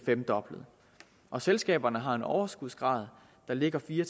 femdoblet og selskaberne har en overskudsgrad der ligger fire